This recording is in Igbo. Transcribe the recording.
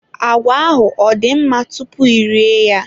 Agwa ahụ ọ dị mma tupu ị rie ya?